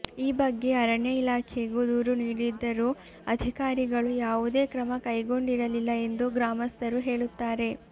ಈ ಬಗ್ಗೆ ಅರಣ್ಯ ಇಲಾಖೆಗೂ ದೂರು ನೀಡಿದ್ದರೂ ಅಧಿಕಾರಿಗಳು ಯಾವುದೇ ಕ್ರಮ ಕೈಗೊಂಡಿರಲಿಲ್ಲ ಎಂದು ಗ್ರಾಮಸ್ಥರು ಹೇಳುತ್ತಾರೆ